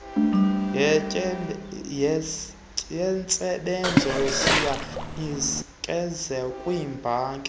yentsebenzo siyanikezelwa kwiibhanki